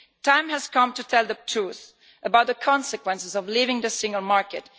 The time has come to tell the truth about the consequences of leaving the single market.